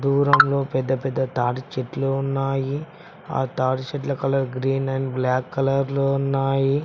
దూరంలో పెద్ద పెద్ద తాడి చెట్లు ఉన్నాయి ఆ తాడి చెట్ల colour green and black colour లో ఉన్నాయి.